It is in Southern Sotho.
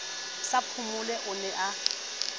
sa phomole o ne a